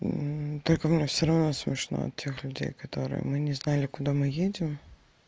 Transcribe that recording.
только мне всё равно смешно от тех людей которые мы не знали куда мы едем